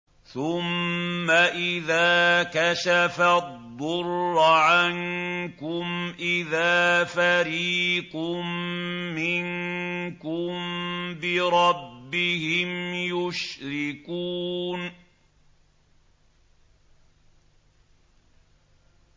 ثُمَّ إِذَا كَشَفَ الضُّرَّ عَنكُمْ إِذَا فَرِيقٌ مِّنكُم بِرَبِّهِمْ يُشْرِكُونَ